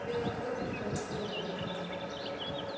белый клык прекратил борьбу